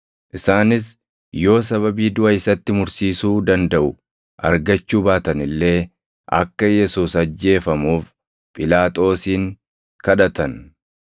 Isaanis yoo sababii duʼa isatti mursiisuu dandaʼu argachuu baatan illee akka Yesuus ajjeefamuuf Phiilaaxoosin kadhatan.